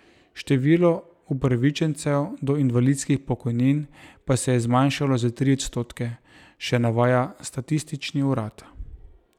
Število upravičencev do invalidskih pokojnin pa se je zmanjšalo za tri odstotke, še navaja statistični urad.